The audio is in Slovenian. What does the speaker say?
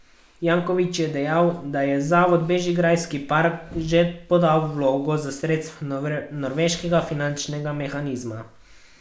Janković je dejal, da je Zavod Bežigrajski park že podal vlogo za sredstva norveškega finančnega mehanizma.